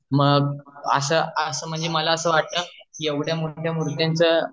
मग अस म्हणजे मला अस वाटत कि एवढ्या मोठ्या मुर्त्यांच